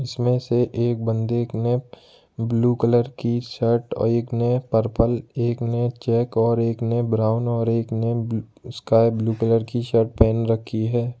इसमें से एक बंदे ने ब्लू कलर की शर्ट और एक ने पर्पल एक ने चेक और एक ने ब्राउन और एक ने स्काई ब्लू कलर की शर्ट पहन रखी है।